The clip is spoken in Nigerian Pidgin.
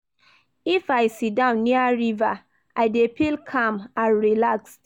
If I siddon near river, I dey feel calm and relaxed